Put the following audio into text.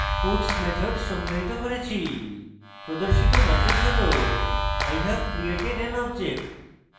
puts method সংজ্ঞায়িত করেছি প্রদর্শিত ম্যাসেজ হল i have created an object